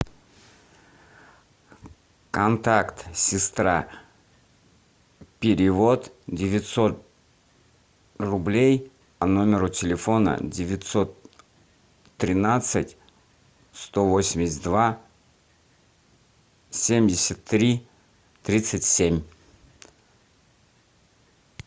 контакт сестра перевод девятьсот рублей по номеру телефона девятьсот тринадцать сто восемьдесят два семьдесят три тридцать семь